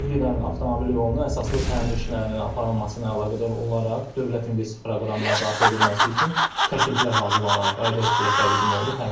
Söz gedən avtomobil yolunun əsaslı təmir işlərinin aparılmasına əlaqədar olaraq Dövlət İnvestisiya Proqramına daxil edilməsi üçün təkliflər hazırlanaraq aidiyyət üzrə təqdim olunub.